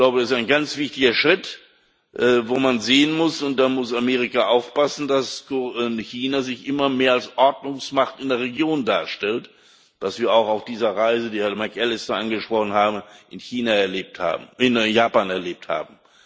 Das ist ein ganz wichtiger Schritt, wo man sehen muss und da muss Amerika aufpassen dass China sich immer mehr als Ordnungsmacht in der Region darstellt, was wir auch auf dieser Reise, die Herr McAllister angesprochen hat, in Japan erlebt haben.